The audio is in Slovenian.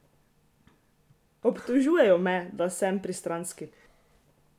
Obtožujejo me, da sem pristranski!